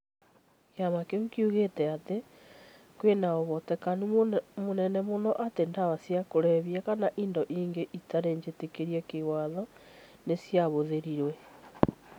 Kĩama kĩu kĩuigĩte atĩ "kwĩna uhotekano mũnene mũno" atĩ ndawa cia kũrebia kana indo ingĩ itarĩ njitĩkĩrie kĩwatho nĩ ciahũthĩrirũo